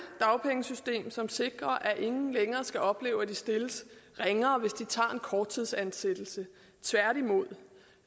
dagpengesystem som sikrer at ingen længere skal opleve at de stilles ringere hvis de tager imod en korttidsansættelse tværtimod